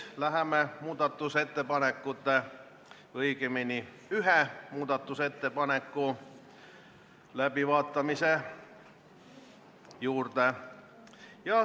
Läheme muudatusettepanekute, õigemini ühe muudatusettepaneku läbivaatamise juurde.